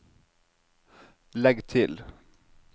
legg til